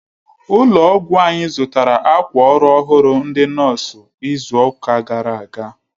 Ụlọ ọgwụ anyi zụtara akwa ọrụ ọhụrụ ndị nọọsụ izuka gara aga